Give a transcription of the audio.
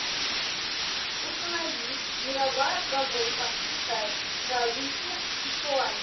установи мировая прогулка китай провинция сычуань